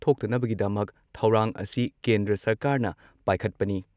ꯊꯣꯛꯇꯅꯕꯒꯤꯗꯃꯛ ꯊꯧꯔꯥꯡ ꯑꯁꯤ ꯀꯦꯟꯗ꯭ꯔ ꯁꯔꯀꯥꯔꯅ ꯄꯥꯏꯈꯠꯄꯅꯤ ꯫